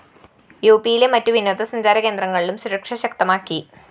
യുപിയിലെ മറ്റു വിനോദസഞ്ചാര കേന്ദ്രങ്ങളിലും സുരക്ഷ ശക്തമാക്കി